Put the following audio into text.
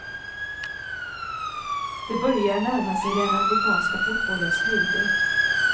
Det börjar närma sig den amerikanska fotbollens höjder.